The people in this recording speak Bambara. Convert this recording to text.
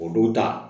O don ta